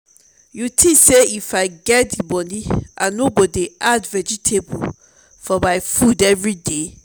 you think say if i get the money i no go dey add vegetable for my food everyday?